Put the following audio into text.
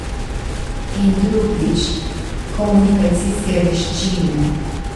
In drugič, komunikacijske veščine.